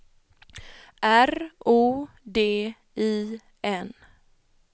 R O D I N